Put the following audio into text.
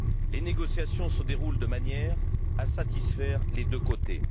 Les négociations se déroulent de manière à satisfaire les deux parties.